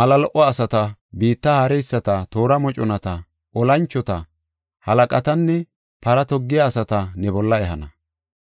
mala lo77o asata, biitta haareyisata, toora moconata, olanchota, halaqatanne para toggiya asata ne bolla ehana.